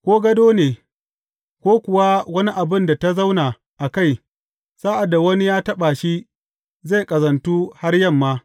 Ko gado ne, ko kuwa wani abin da ta zauna a kai, sa’ad da wani ya taɓa shi, zai ƙazantu har yamma.